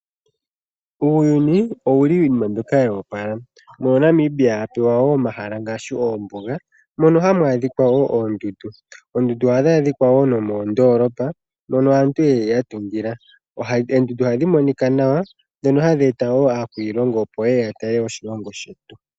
Uuyuni owuli wuna iinima mbyoka yoopala, mono Namibiaa apewa woo omahala ngono ngaashi oombuga, mono hamu adhika oondundu. Oondundu ohadhi adhika woo nomoondolopa mono aantu yeli yatungila. Oondundu ohadhi monika nawa dhono hadhi eta woo aakwilongo opo yeye yatale oshilongo shetu.